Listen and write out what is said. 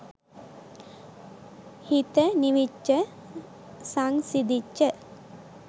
හිත නිවිච්ච සංසිඳිච්ච